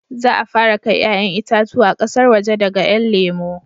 Za a fara kai 'ya'yan itatuwa ƙasar waje daga 'yan lemo